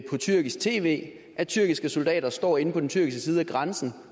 på tyrkisk tv at tyrkiske soldater står inde på den tyrkiske side af grænsen